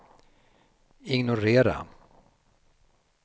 ignorera